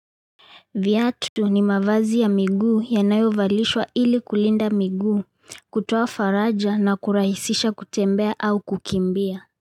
Viatu ndio ni mavazi ya miguu yanayovalishwa ili kulinda miguu kutoa faraja na kurahisisha kutembea au kukimbia.